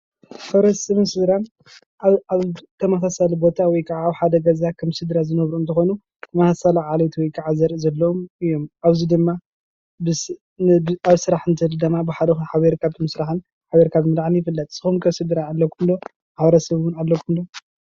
ማሕበረሰብን ስድራ አብ ተመሳሳሊ ቦታ ወይ ከዓ አብ ሓደ ገዛ ከም ስድራ ዝነብሩ እንትኾኑ ተመሳሳሊ ዓሌት ወይ ከዓ ዘርኢ ዘለዎም እዮም። አብዚ ድማ አብ ስራሕ እንትህሉው ድማ ሓቢርካ ምስራሕን ሓቢርካ ምብላዕን ይፍለጥ። ንስኩም ኸ ስድራ አለኩም ዶ ? ማሕበረሰብ አለኩም ዶ?